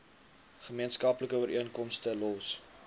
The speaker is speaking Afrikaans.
gemeenskaplike ooreenkomste los